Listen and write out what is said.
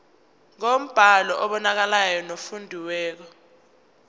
ngombhalo obonakalayo nofundekayo